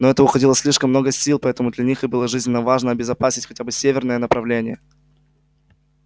на это уходило слишком много сил поэтому для них и было жизненно важно обезопасить хотя бы северное направление